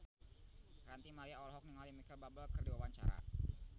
Ranty Maria olohok ningali Micheal Bubble keur diwawancara